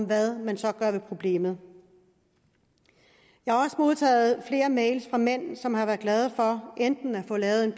hvad man gør ved problemet jeg har også modtaget flere e mails fra mænd som har været glade for enten at få lavet en